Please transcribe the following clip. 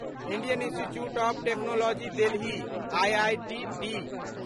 Indian institute of technology Delhi IITD